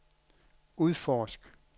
udforsk